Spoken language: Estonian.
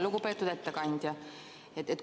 Lugupeetud ettekandja!